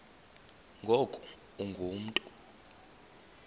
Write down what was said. ngoku ungu mntu